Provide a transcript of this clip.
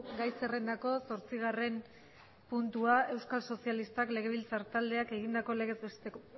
gai zerrendako zortzigarren puntua euskal sozialistak legebiltzar taldeak egindako legez